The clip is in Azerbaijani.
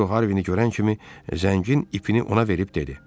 Kapitan Disko Harvin-i görən kimi zəngin ipini ona verib dedi: